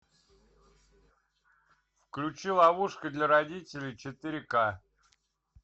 включи ловушка для родителей четыре к